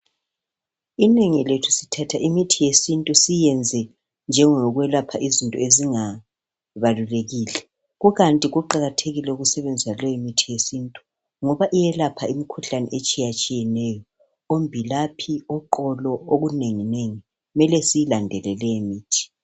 Inengi lethu sithatha imithi yesiNtu siyenze njengeyokwelapha izinto ezingabalulekile kukanti kuqakathekile ukusebenzisa leyi mithi yesiNtu ngoba iyelapha imikhuhlane etshiyetshiyeneyo ombilaphi oqolo okunengingengi mele siyilandele leyi mithi